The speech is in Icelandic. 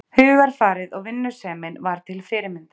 Hugarfarið og vinnusemin var til fyrirmyndar.